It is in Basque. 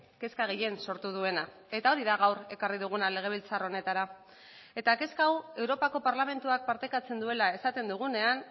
kezka gehien sortu duena eta hori da gaur ekarri duguna legebiltzar honetara eta kezka hau europako parlamentuak partekatzen duela esaten dugunean